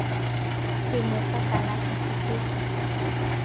sengwe sa kalafi se se